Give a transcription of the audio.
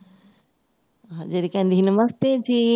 ਜਿਹੜੀ ਕਹਿੰਦੀ ਸੀ ਨਮਸਤੇ ਜੀ